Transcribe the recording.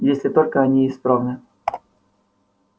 если только они исправны